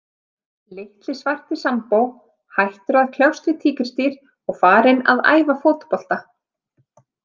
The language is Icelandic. Litli svarti Sambó hættur að kljást við tígrisdýr og farinn að æfa fótbolta.